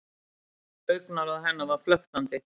Augnaráð hennar var flöktandi.